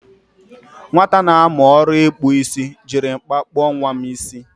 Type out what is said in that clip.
Nwata na-amu oru ikpu isi jiri mkpa kpo nwa m isi.